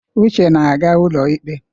Uche na-aga ụlọikpe.